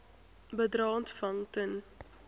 bedrae ontvang ten